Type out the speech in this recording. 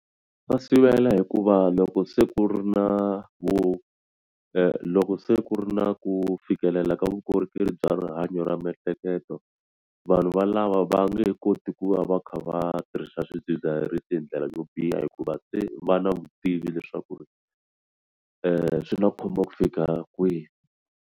Va sivela hikuva loko se ku ri na vu loko se ku ri na ku fikelela ka vukorhokeri bya rihanyo ra miehleketo vanhu va lava va nge koti ku va va kha va tirhisa swidzidziharisi hi ndlela yo biha hikuva se va na vutivi leswaku ri swi nga khumba ku fika kwihi.